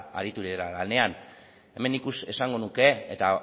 lanean esango nuke eta